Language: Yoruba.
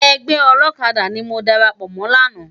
Ègbè òlòkàdá ni mó dàrápò mò làná